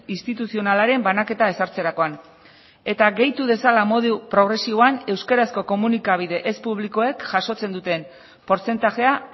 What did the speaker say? instituzionalaren banaketa ezartzerakoan eta gehitu dezala modu progresiboan euskarazko komunikabide ez publikoek jasotzen duten portzentajea